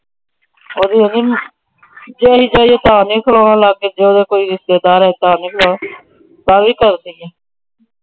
ਜੇ ਅਸੀਂ ਦੇਈਏ ਤਾਂ ਨਹੀਂ। ਜੇ ਕੋਈ ਰਿਸ਼ਤੇਦਾਰ ਆ ਜੇ ਤਾਂ ਨਹੀਂ ਬੁਲਾਣਾ। ਤਾਂ ਵੀ ਕਰਦੀ ਆ । ਅੱਛਾ।